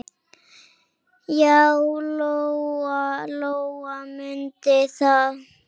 Já, Lóa-Lóa mundi það.